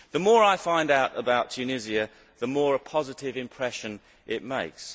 The more I find out about Tunisia, the more positive an impression it makes.